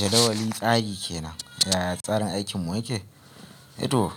Jadawalin tsarin kenan, yaya tsarin aikin mu yake? E to